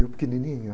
E eu pequenininho.